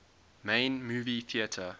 main movie theatre